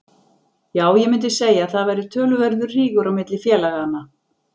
Já ég mundi segja að það væri töluverður rígur á milli félaganna.